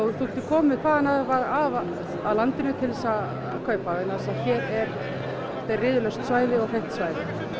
þú getur komið hvaðanæva að af landinu til þess að kaupa vegna þess að þetta er riðulaust svæði og hreint svæði